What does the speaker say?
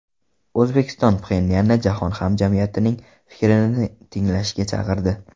O‘zbekiston Pxenyanni jahon hamjamiyatining fikrini tinglashga chaqirdi.